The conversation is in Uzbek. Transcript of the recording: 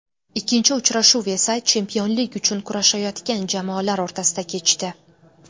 Ikkinchi uchrashuv esa chempionlik uchun kurashayotgan jamoalar o‘rtasida kechdi.